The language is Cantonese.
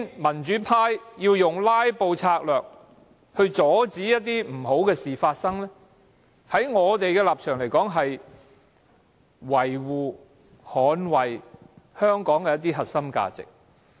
民主派用"拉布"策略阻止不好的事情發生，在我們的立場而言，是維護、捍衞香港的核心價值。